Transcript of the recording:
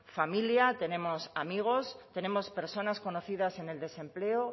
familia tenemos amigos tenemos personas conocidas en el desempleo